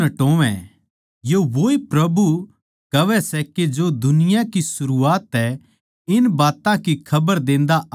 यो वोए प्रभु कहवै सै जो दुनिया की सरूआत तै इन बात्तां की खबर देंदा आया सै